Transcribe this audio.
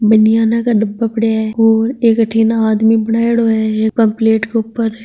बनियाना का डिब्बा पड़े है और एक अठिने आदमी बनेडो है ये प्लेट ऊपर है।